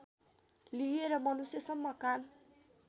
लिएर मनुष्यसम्म कान